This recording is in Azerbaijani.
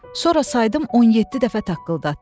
Sonra saydım 17 dəfə taqqıldatdı.